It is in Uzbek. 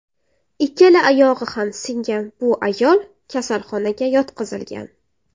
Ikkala oyog‘i ham singan bu ayol kasalxonaga yotqizilgan.